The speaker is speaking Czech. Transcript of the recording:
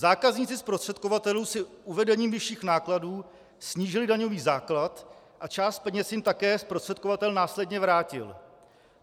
Zákazníci zprostředkovatelů si uvedením vyšším nákladů snížili daňový základ a část peněz jim také zprostředkovatel následně vrátil.